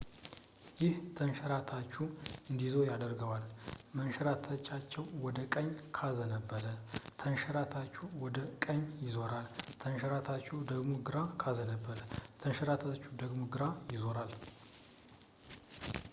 ይህ ተንሸራታቹ እንዲዞር ያደርገዋል መንሸራተቻው ወደ ቀኝ ካዘነበለ ተንሸራታቹ ወደ ቀኝ ይዞራል ተንሸራታቹ ወደ ግራ ካዘነበለ ተንሸራታቹ ወደ ግራ ይዞራል